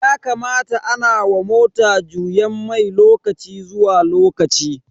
Yakamata ana wa mota juyen mai lokaci zuwa lokaci.